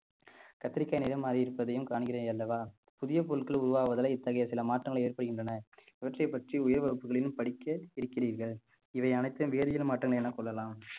கத்திரிக்காய் நிறம் மாறி இருப்பதையும் காண்கிறேன் அல்லவா புதிய பொருட்கள் உருவாவதலே இத்தகைய சில மாற்றங்கள் ஏற்படுகின்றன இவற்றை பற்றி உயர் வகுப்புகளில் படிக்க இருக்கிறீர்கள் இவை அனைத்தும் வேதியியல் மாற்றங்கள் எனக் கொள்ளலாம்